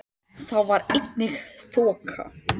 Þá var einnig þoka